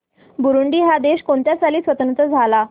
Burundi हा देश कोणत्या साली स्वातंत्र्य झाला